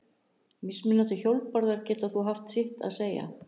Mismunandi hjólbarðar geta þó haft sitt að segja.